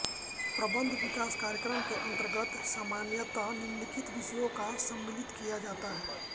प्रबन्ध विकास कार्यक्रम के अन्तर्गत सामान्यतः निम्नलिखित विषयों का सम्मिलित किया जाता है